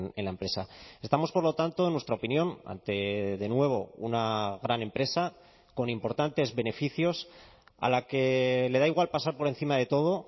en la empresa estamos por lo tanto en nuestra opinión ante de nuevo una gran empresa con importantes beneficios a la que le da igual pasar por encima de todo